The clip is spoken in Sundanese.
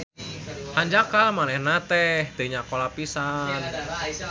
Hanjakal manehna teh teu nyakola pisan